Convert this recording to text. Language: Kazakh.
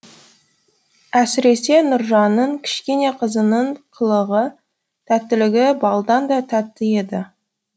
әсіресе нұржанның кішкене қызының қылығы тәттілігі балдан да тәтті еді